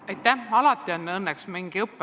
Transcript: Aitäh!